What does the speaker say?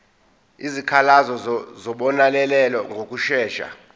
izikhalazo zizobonelelwa ngokushesha